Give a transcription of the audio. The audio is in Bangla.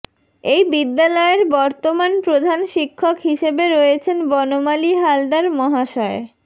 এই বিদ্যালয়ের বর্তমান প্রধান শিক্ষক হিসেবে রয়েছেন বনমালী হালদার মহাশয়